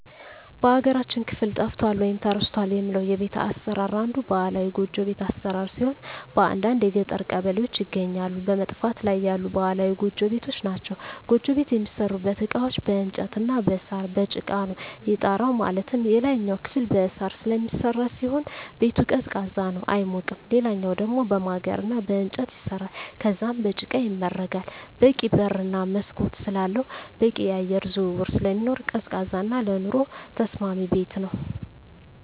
በሀገራችን ክፍል ጠፍቷል ወይም ተረስቷል የምለው የቤት አሰራር አንዱ ባህላዊ ጎጆ ቤት አሰራር ሲሆን በአንዳንድ የገጠር ቀበሌዎች ይገኛሉ በመጥፋት ላይ ያሉ ባህላዊ ጎጆ ቤቶች ናቸዉ። ጎጆ ቤት የሚሠሩበት እቃዎች በእንጨት እና በሳር፣ በጭቃ ነው። የጣራው ማለትም የላይኛው ክፍል በሳር ስለሚሰራ ሲሆን ቤቱ ቀዝቃዛ ነው አይሞቅም ሌላኛው ደሞ በማገር እና በእንጨት ይሰራል ከዛም በጭቃ ይመረጋል በቂ በር እና መስኮት ስላለው በቂ የአየር ዝውውር ስለሚኖር ቀዝቃዛ እና ለኑሮ ተስማሚ ቤት ነው።